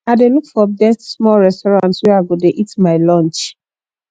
i dey look for best small restsurant where i go dey eat my lunch